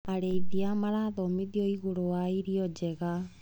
Arĩithia marathomithio igũrũ wa irio njega.